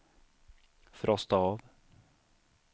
frosta av